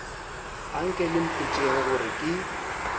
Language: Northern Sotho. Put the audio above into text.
anke le mpotšeng gore ke